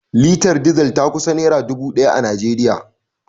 Litar Diesel ta kusan naira dubu daya a Najeriya